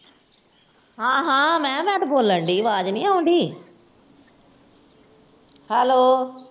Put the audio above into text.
ਹਾਂ ਹਾਂ ਮੈਂ ਕਿਹਾ ਮੈਂ ਤੇ ਬੋਲਣ ਡਈ ਆ ਆਵਾਜ਼ ਨੀ ਆਉਣ ਡਈ hello